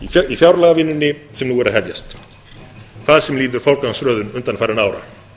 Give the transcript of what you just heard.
í fjárlagavinnunni sem nú er að hefjast hvað sem líður forgangsröðun undanfarinna ára